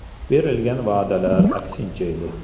Berilgan va’dalar aksincha edi.